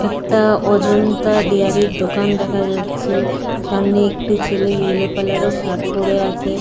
একটা অজন্তা ডেয়ারি -এর দোকান দেখা যাচ্ছে। সামনে একটি ছেলে ইয়েলো কালার -এর শার্ট পরে আছে।